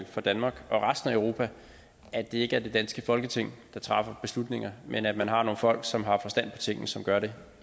for danmark og resten af europa at det ikke er det danske folketing der træffer beslutninger men at man har nogle folk som har forstand på tingene som gør det